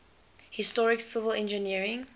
historic civil engineering